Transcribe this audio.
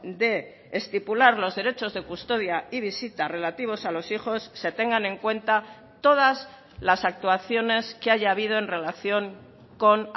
de estipular los derechos de custodia y visita relativos a los hijos se tengan en cuenta todas las actuaciones que haya habido en relación con